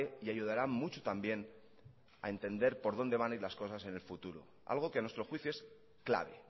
y ayudará mucho también a entender por dónde van a ir las cosas en el futuro algo que a nuestro juicio es clave